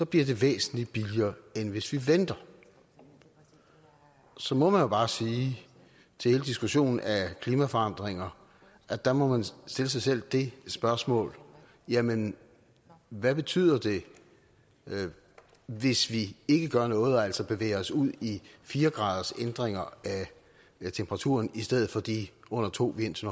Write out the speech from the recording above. bliver det væsentligt billigere end hvis vi venter så må man jo bare sige til hele diskussionen af klimaforandringer at der må man stille sig selv spørgsmålet jamen hvad betyder det hvis vi ikke gør noget og altså bevæger os ud i fire gradersændringer i temperaturen i stedet for de under to vi indtil